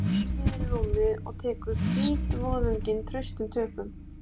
Hún seilist niður í rúmið og tekur hvítvoðunginn traustum tökum.